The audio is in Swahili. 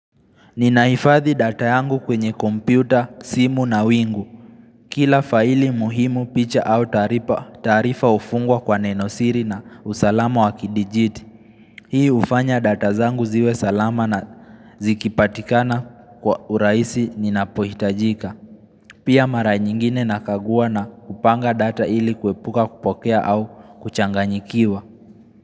Ninahifadhi data yangu kwenye kompyuta, simu na wingu. Kila faili muhimu picha au taarifa hufungwa kwa nenosiri na usalama wa kidijiti. Hii hufanya data zangu ziwe salama na zikipatikana kwa urahisi ninapohitajika. Pia mara nyingine nakagua na kupanga data ili kuepuka kupotea au kuchanganyikiwa.